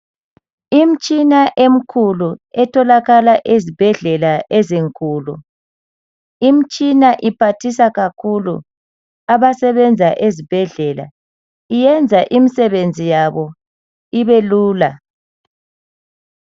Imitshina enkulu etholakala ezibhedela ezinkulu imitshina iphathisa kakhulu abasebenza ezibhedlela iyenza imisebenzi yabo ibelula